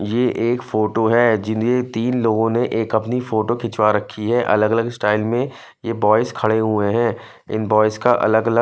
ये एक फोटो है जिन्हें तीन लोगों ने एक अपनी फोटो खिंचवा रखी है अलग अलग स्टाइल में ये बॉयज खड़े हुए हैं इन बॉयज का अलग अलग--